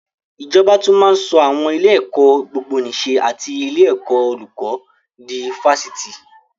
Ìjọba tún máa ń sọ àwọn ilé-ẹ̀kọ́ gbogbonìṣe and ilé ẹ̀kọ́ olùkó di Fásitì.